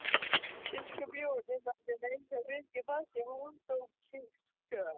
Biskup Jón hefur látið reisa virki fast við Hóladómkirkju.